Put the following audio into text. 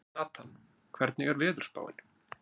Natan, hvernig er veðurspáin?